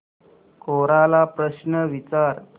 कोरा ला प्रश्न विचार